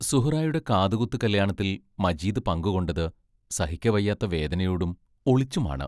സുഹ്റായുടെ കാതുകുത്തു കല്യാണത്തിൽ മജീദ് പങ്കുകൊണ്ടത് സഹിക്കവയ്യാത്ത വേദനയോടും ഒളിച്ചുമാണ്.